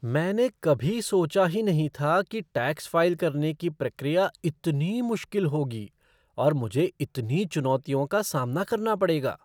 मैंने कभी सोचा ही नहीं था कि टैक्स फ़ाइल करने की प्रक्रिया इतनी मुश्किल होगी और मुझे इतनी चुनौतियों का सामना करना पड़ेगा।